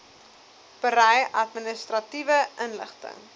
berei administratiewe inligting